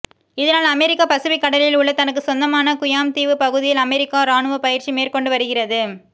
இதனால் America Pacific கடலில் உள்ள தனக்கு சொந்தமான குயாம் தீவு பகுதியில் அமெரிக்கா இராணுவ பயிற்சி மேற்கொண்டு வருகிறது